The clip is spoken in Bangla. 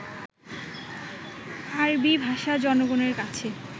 আরবী ভাষা জনগণের কাছে